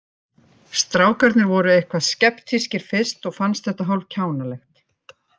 Strákarnir voru eitthvað skeptískir fyrst og fannst þetta hálf kjánalegt.